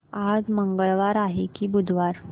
आज मंगळवार आहे की बुधवार